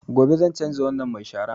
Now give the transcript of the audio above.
Gobe zan canza wannan mai sharan